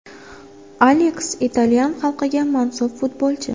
Aleks – italyan xalqiga mansub futbolchi.